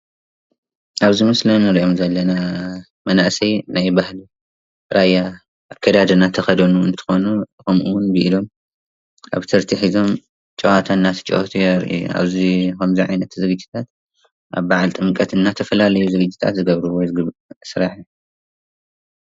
እዚ ምስሊ ኣብ ዓብይ በዓል መናእሰይ ራያ ዝገብርዎ ጨፈራ እዩ።